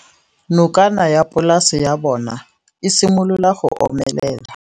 Nokana ya polase ya bona, e simolola go omelela.